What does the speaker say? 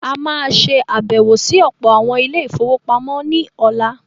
A má a ṣe àbẹ̀wọ̀ sí ọ̀pọ̀ àwọn “ Ilé-ìfowópamọ́ ” ní ọ̀la.